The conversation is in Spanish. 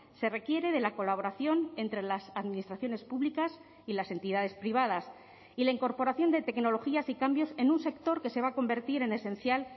se requiere de la colaboración entre las administraciones públicas y las entidades privadas y la incorporación de tecnologías y cambios en un sector que se va a convertir en esencial